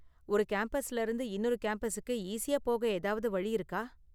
ஒரு கேம்பஸ்ல இருந்து இன்னொரு கேம்பஸுக்கு ஈஸியா போக ஏதாவது வழி இருக்கா?